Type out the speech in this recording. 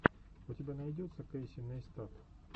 у тебя найдется кэйси нейстат